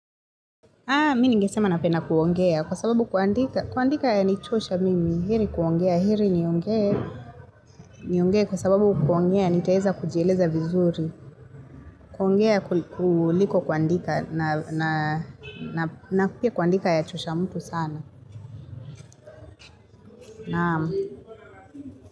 Mimi ningesema napenda kuongea kwa sababu kuandika yanichosha mimi. Heri kuongea, heri niongee niongee kwa sababu kuongea, nitaweza kujieleza vizuri. Kuongea kuliko kuandika na pia kuandika yachosha mtu sana.